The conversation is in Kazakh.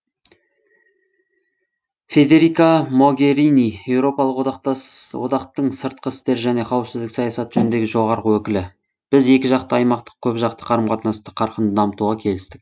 федерика могерини еуропалық одақтың сыртқы істер және қауіпсіздік саясаты жөніндегі жоғарғы өкілі біз екіжақты аймақтық көпжақты қарым қатынасты қарқынды дамытуға келістік